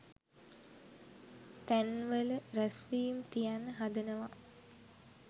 තැන්වල රැස්වීම් තියන්න හදනවා